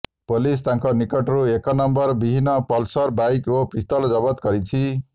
police ତାଙ୍କ ନିକଟରୁ ଏକ ନମ୍ବର ବିହିନ ପଲସର ବାଇକ୍ ଓ ପିସ୍ତଲ ଜବତ କରିଛି